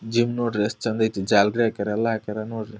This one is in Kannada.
ಜಿಮ್ ನೋಡ್ರಿ ಎಸ್ಟ್ ಚಂದ ಐತಿ. ಜಾಲರಿ ಹಾಕ್ಯಾರ ಎಲ್ಲ ಹಾಕ್ಯಾರ ನೋಡ್ರಿ.